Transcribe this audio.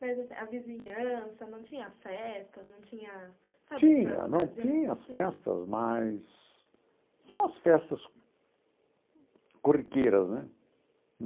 Mas a vizinhança, não tinha festas, não tinha sabe... Tinha, não tinha as festas, mas... São as festas... corriqueiras, né?